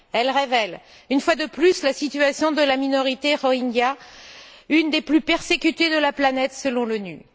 Elles révèlent, une fois de plus, la situation de la minorité Rohingya, l'une des plus persécutées de la planète, selon l'ONU.